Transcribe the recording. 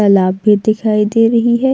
तालाब भी दिखाई दे रही हैं।